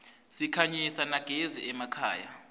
sikhanyisa nyagezi emakhaya